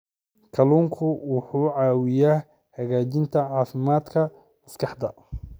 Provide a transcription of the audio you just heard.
Kalluunku wuxuu caawiyaa hagaajinta caafimaadka maskaxda.